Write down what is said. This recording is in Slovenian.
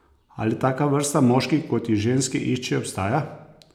Ali taka vrsta moških, kot jih ženske iščejo, obstaja?